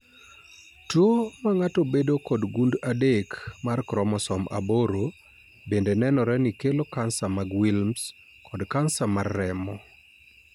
Tuo mang'ato bedo kod gund adek mar kromosom aboro bende nenore ni kelo kansa mag Wilms, kod kansa mar remo